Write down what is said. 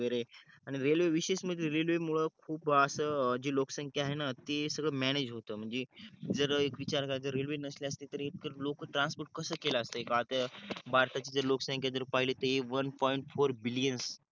आणि रेलवे विशेस म्हणजे रेलवे मूळ खूप अस जे लोक संख्या आहे ती सगळ म्यानेज होत जर एक विचार केला जर रेल्नवे सल्या असत्या तर लोकान ट्रान्स्पोर्ट कस केल्या असत्या भारता भारताची जे लोकसंख्या जर पाहिली ते वन पॉईंट फोर बिलियन